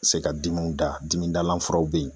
Se ka dimanw da dimi dalan furaw be yen